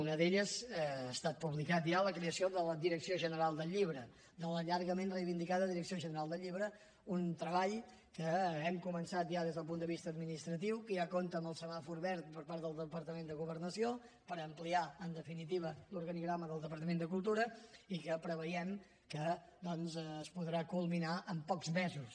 una d’elles ha estat publicat ja la creació de la direcció general del llibre de la llargament reivindicada direcció general del llibre un treball que hem començat ja des del punt de vista administratiu que ja compta amb el semàfor verd per part del departament de governació per ampliar en definitiva l’organigrama del departament de cultura i que preveiem que doncs es podrà culminar en pocs mesos